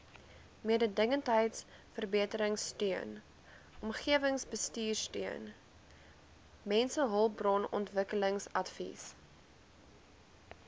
mededingendheidsverbeteringsteun omgewingsbestuursteun mensehulpbronontwikkelingsadvies